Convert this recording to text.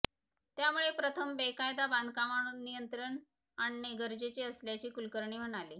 त्यामुळे प्रथम बेकायदा बांधकामावर नियंत्रण आणणे गरजेचे असल्याचे कुलकर्णी म्हणाले